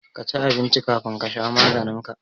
Ka ci abinci kafin ka sha maganin ka